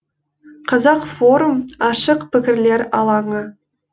қазақ форум ашық пікірлер алаңы